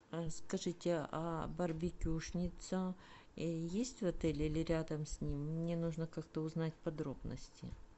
скажите а барбекюшница есть в отеле или рядом с ним мне нужно как то узнать подробности